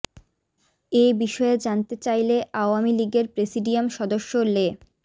এ বিষয়ে জানতে চাইলে আওয়ামী লীগের প্রেসিডিয়াম সদস্য লে